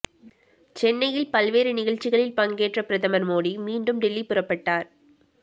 சென்னையில் பல்வேறு நிகழ்ச்சிகளில் பங்கேற்ற பிரதமர் மோடி மீண்டும் டெல்லி புறப்பட்டார்